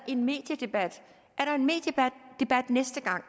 en mediedebat næste gang